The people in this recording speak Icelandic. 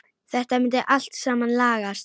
Þetta myndi allt saman lagast.